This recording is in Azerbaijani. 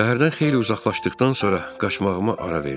Şəhərdən xeyli uzaqlaşdıqdan sonra qaçmağıma ara verdim.